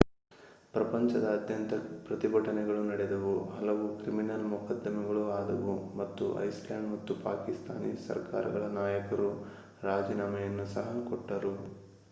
ಪ್ರಪಂಚದಾದ್ಯಂತ ಪ್ರತಿಭಟನೆಗಳು ನಡೆದವು ಹಲವು ಕ್ರಿಮಿನಲ್ ಮೊಕದ್ದಮೆಗಳು ಆದವು ಮತ್ತು ಐಸ್ಲ್ಯಾಂಡ್ ಹಾಗೂ ಪಾಕಿಸ್ತಾನಿ ಸರ್ಕಾರಗಳ ನಾಯಕರು ರಾಜೀನಾಮೆಯನ್ನು ಸಹ ಕೊಟ್ಟರು